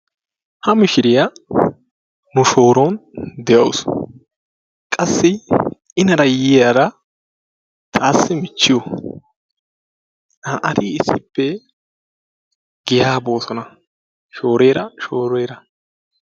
Ha mishiriyaa nu shooron de'awus qassi inara yiyyaara taassi michchiyo. naa'ati issippe giyaa boosona shoorera shoorera.